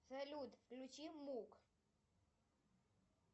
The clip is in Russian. салют включи мук